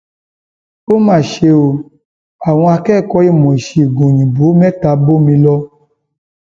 ó mà ṣe o àwọn akẹkọọ ìmọ ìṣègùn òyìnbó mẹta bómi lọ